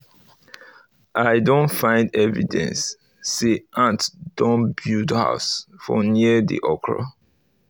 i don find evidence say ant don build house for near the okra